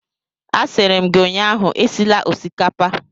A sịrị m gi ụnyaahụ esila osikapa!